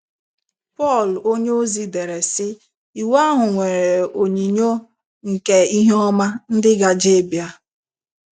Pọl onyeozi dere, sị: “ Iwu ahụ nwere onyinyo nke ihe ọma ndị gaje ịbịa. ”